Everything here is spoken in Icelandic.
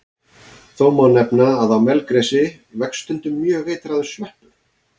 Þó má nefna að á melgresi vex stundum mjög eitraður sveppur.